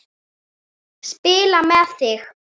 Spila með þig?